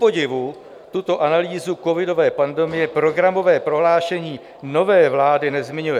Kupodivu, tuto analýzu covidové pandemie programové prohlášení nové vlády nezmiňuje.